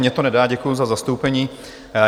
Mně to nedá, děkuji za zastoupení.